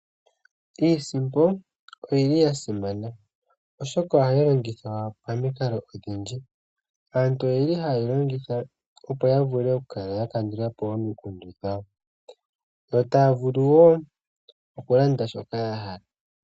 iisimpo oya simana, oshoka ohayi longithwa pamikalo odhindji. Aantu ohaye yi longitha, opo ya kale ya kandula po omikundu dhawo, yo taya vulu wo okulanda shoka ya hala.